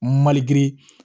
Malikiri